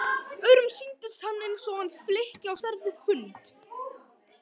Öðrum sýndist hann eins og flykki á stærð við hund.